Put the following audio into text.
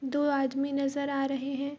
दो आदमी नज़र आ रहें हैं।